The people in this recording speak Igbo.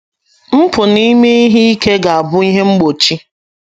Mpụ na ime ihe ike ga - abụ ihe mgbe ochie.